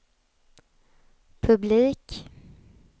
publik